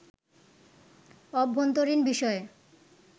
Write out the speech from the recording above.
অভ্যন্তরীণ বিষয়ে